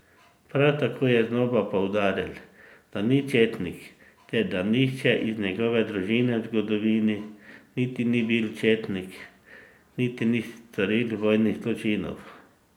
Prav tako je znova poudaril, da ni četnik ter da nihče iz njegove družine v zgodovini niti ni bil četnik niti ni storil vojnih zločinov.